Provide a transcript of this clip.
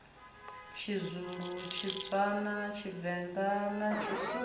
tshizulu tshitswana tshivenḓa na tshisuthu